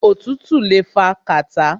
Òtútù le fa kàtá.